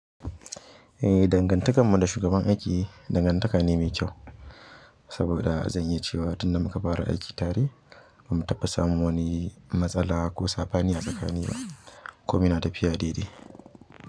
Ehh, dangantakar mu da shugaban aiki dangantaka ne mai kyau. Saboda zan iya cewa tun da muka fara aiki tare ba mu taɓa samun wani matsala ko saɓani a tsakani ba. Komai na tafiya daidai.